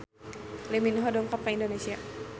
Lee Min Ho dongkap ka Indonesia